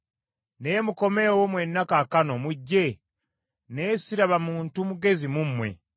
“Naye mukomeewo mwenna kaakano, mujje, naye siraba muntu mugezi mu mmwe!